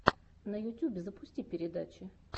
на ютьюбе запусти передачи